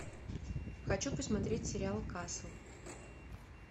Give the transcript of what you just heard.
хочу посмотреть сериал касл